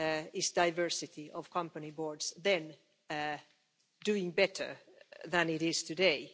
was diversity of company boards then doing better than it is today?